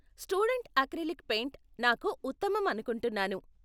Student acrylic paint నాకు ఉత్తమం అనుకుంటున్నాను.